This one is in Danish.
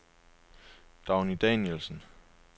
Dagny Danielsen